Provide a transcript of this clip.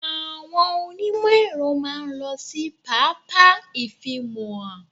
Àwọn onímọ̀-Ẹ̀rọ máa ń lọ sí pápá ifimohan.